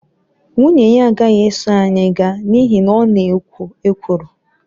Nwunye ya agaghị eso anyị gaa n’ihi na ọ na-ekwo ekworo.